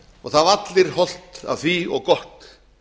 það hafa allir hollt af því og gott